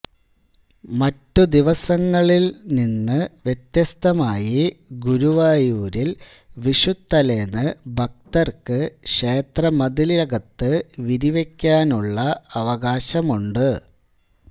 മറ്റുദിവസങ്ങളിൽ നിന്ന് വ്യത്യസ്തമായി ഗുരുവായൂരിൽ വിഷുത്തലേന്ന് ഭക്തർക്ക് ക്ഷേത്രമതിലകത്ത് വിരിവയ്ക്കാനുള്ള അവകാശമുണ്ട്